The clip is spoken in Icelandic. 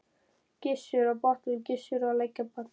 Gissur á Botnum, Gissur á Lækjarbotnum.